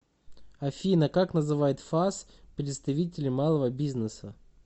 афина как называет фас представителей малого бизнеса